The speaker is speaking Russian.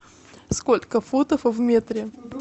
сколько футов в метре